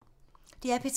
DR P3